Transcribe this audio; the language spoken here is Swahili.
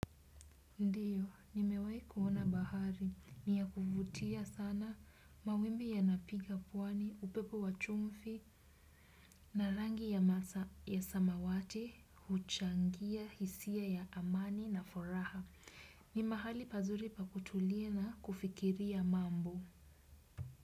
Ndiyo, ni mewahi kuona bahari. Ni ya kuvutia sana mawimbi ya napiga pwani, upepo wa chumvi, na rangi ya samawati, huchangia, hisia ya amani na furaha. Ni mahali pazuri pa kutulia na kufikiria mambo.